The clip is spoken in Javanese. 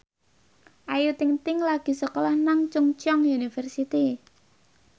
Ayu Ting ting lagi sekolah nang Chungceong University